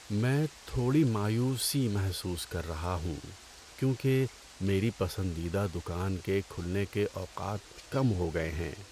میں تھوڑی مایوسی محسوس کر رہا ہوں کیونکہ میری پسندیدہ دکان کے کھلنے کے اوقات کم ہو گئے ہیں۔